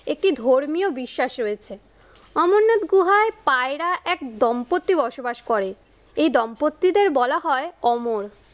একটি ধর্মীয় বিশ্বাস রয়েছে। অমরনাথ গুহায় পায়রা এক দম্পত্তি বসবাস করে এই দম্পত্তিদের বলা হয় অমর।